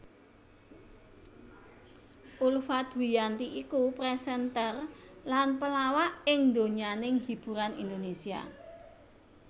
Ulfa Dwiyanti iku presenter lan pelawak ing donyaning hiburan Indonésia